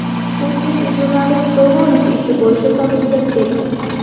Putin jurnalist Golunov ishi bo‘yicha topshiriq bergan.